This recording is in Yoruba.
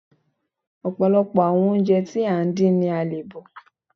Ọ̀pọ̀lọpọ̀ àwọn oúnjẹ tí à ń dín ni a le bọ̀